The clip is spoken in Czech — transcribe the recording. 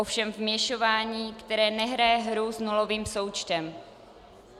Ovšem vměšování, které nehraje hru s nulovým součtem.